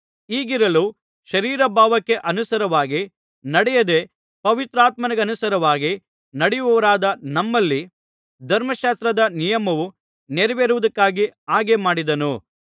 ಹೀಗಿರಲು ಶರೀರಭಾವಕ್ಕೆ ಅನುಸಾರವಾಗಿ ನಡೆಯದೆ ಪವಿತ್ರಾತ್ಮನಿಗನುಸಾರವಾಗಿ ನಡೆಯುವವರಾದ ನಮ್ಮಲ್ಲಿ ಧರ್ಮಶಾಸ್ತ್ರದ ನಿಯಮವು ನೆರವೇರುವುದಕ್ಕಾಗಿ ಹಾಗೆ ಮಾಡಿದನು